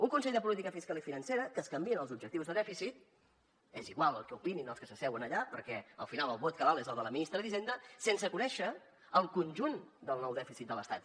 un consell de política fiscal i financera que canvia els objectius de dèficit és igual el que opinin els que s’asseuen allà perquè al final el vot que val és el de la ministra d’hisenda sense conèixer el conjunt del nou dèficit de l’estat